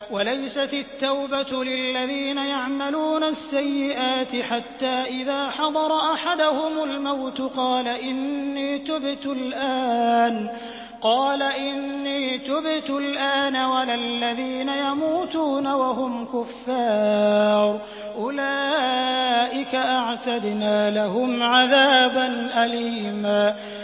وَلَيْسَتِ التَّوْبَةُ لِلَّذِينَ يَعْمَلُونَ السَّيِّئَاتِ حَتَّىٰ إِذَا حَضَرَ أَحَدَهُمُ الْمَوْتُ قَالَ إِنِّي تُبْتُ الْآنَ وَلَا الَّذِينَ يَمُوتُونَ وَهُمْ كُفَّارٌ ۚ أُولَٰئِكَ أَعْتَدْنَا لَهُمْ عَذَابًا أَلِيمًا